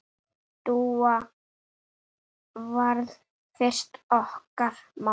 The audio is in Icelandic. Dúa varð fyrst okkar mamma.